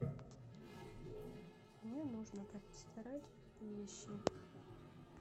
мне нужно постирать вещи